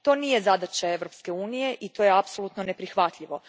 To nije zadaća Europske unije i to je apsolutno neprihvatljivo.